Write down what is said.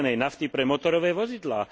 zelenej nafty pre motorové vozidlá.